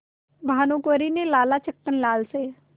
भानकुँवरि ने लाला छक्कन लाल से